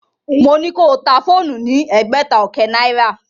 Mo ní ko ta fóònù ní ẹgbẹ̀ta ọkẹ́ náìrà.